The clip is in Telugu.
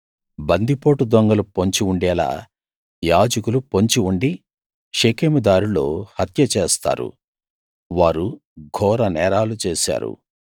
బందిపోటు దొంగలు పొంచి ఉండేలా యాజకులు పొంచి ఉండి షెకెము దారిలో హత్య చేస్తారు వారు ఘోరనేరాలు చేశారు